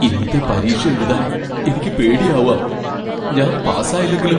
ഇന്നത്തെ പരീക്ഷ എഴുതാൻ എനിക്ക് പേടിയാവാ. ഞാൻ പാസായില്ലെങ്കിലോ?